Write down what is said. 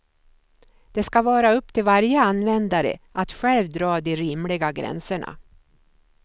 Det ska vara upp till varje användare att själv dra de rimliga gränserna.